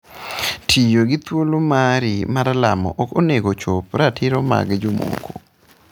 Tiyo gi thuolo mari mar lamo ok onego ochop ratiro mag jomoko.